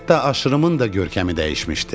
Hətta aşırımın da görkəmi dəyişmişdi.